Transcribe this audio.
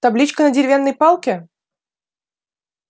табличка на деревянной палке